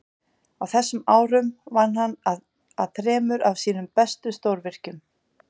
Á þessum árum vann hann að þremur af sínum mestu stórvirkjum.